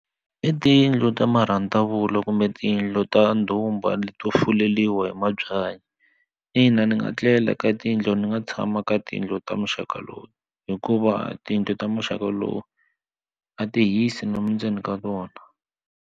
I tiyindlu ta marhandzavula kumbe tiyindlu ta ndzumba to fulerijavulawa hi mabyanyi ina ni nga tlela ka tiyindlu ni nga tshama ka tiyindlu ta muxaka lowu hikuva tiyindlu ta muxaka lowu a ti hisi nomu endzeni ka tona.